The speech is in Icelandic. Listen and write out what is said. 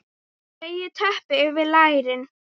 Dreg teppið yfir lærin.